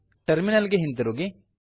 terminal ಗೆ ಹಿಂತಿರುಗಿ